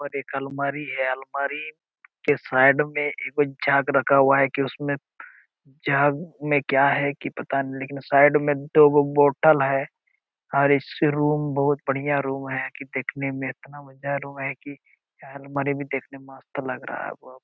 ऊपर एक अलमारी है अलमारी के साइड में एक गो जग रखा हुआ हैं कि उसमें जग में क्या हैं कि पता नही लेकिन साइड में दो गो बोतल हैं और ए.सी. रूम बहुत बढ़िया रूम हैं कि देखने में इतना मजा रूम हैं कि यह अलमारी भी देखने में मस्त लग रहा है। वा! वा!